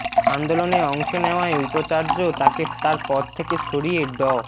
আন্দোলনে অংশ নেওয়ায় উপাচার্য তাকে তার পদ থেকে সরিয়ে ড